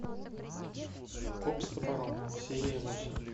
коп с топором серия восемь